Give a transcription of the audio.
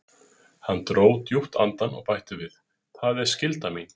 Hann dró djúpt andann og bætti við: Það er skylda mín.